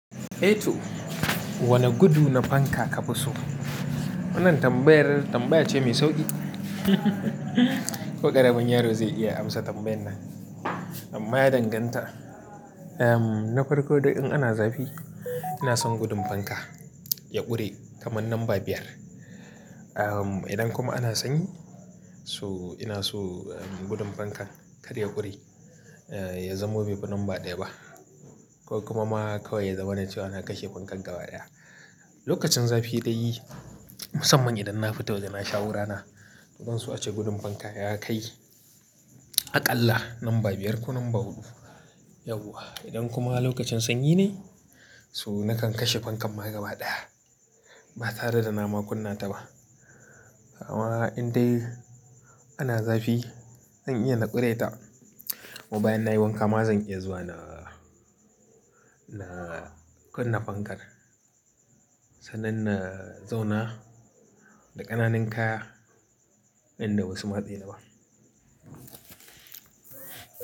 "A toh, wani gudu na fanka ka fi so?" Wannan tambayar tambaya ce mai sauƙi. Ko ƙaramin yaro zai iya amsa tambayar nan. Amma ya danganta. Um, na farko dai in ana zafi, ina son gudun fanka ya ƙure kamar numba biyar. Um, idan kuma ana sanyi, so ina so gudun fankan kar ya ƙure. Ya zamo bai fi numba ɗaya ba, ko kuma ma kawai ya zama na ce wa na kashe fankar gaba ɗaya. Lokacin zafi dai musamman idan na fito waje na sha'urana, to zan so ace gudun fanka ya kai. Aƙalla numba biyar ko numba huɗu, yauwa. Idan kuma lokacin sanyi ne, so na kan kashe fankar ma gaba ɗaya ba tare da na ma kunna ta ba. Amma in dai ana zafi zan iya na ƙure ta kuma bayan na yi wanka ma zan iya zuwa na, na kunna fankar sannan na zauna da ƙananan kaya in da basu matse ni ba.